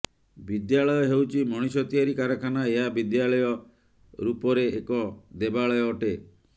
ବିଦ୍ୟାଳୟ ହେଉଛି ମଣିଷ ତିଆରି କାରଖାନା ଏହା ବିଦ୍ୟଳୟ ରୂପରେ ଏକ ଦେବାଳୟ ଅଟେ